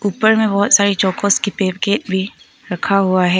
ऊपर में बहुत सारे चौकोज के पैकेट भी रखा हुआ है।